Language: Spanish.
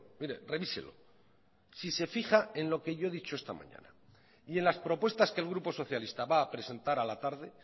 mire revíselo si se fija en lo que yo he dicho esta mañana y en las propuestas que el grupo socialista va a presentar a la tarde